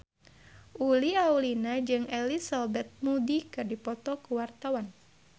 Uli Auliani jeung Elizabeth Moody keur dipoto ku wartawan